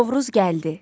Novruz gəldi.